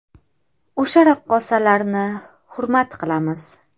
O‘sha raqqosalarni hurmat qilamiz.